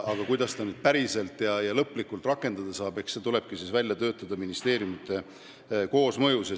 Aga kuidas seda päriselt ja lõplikult rakendada saab, see tulebki välja töötada ministeeriumide koosmõjus.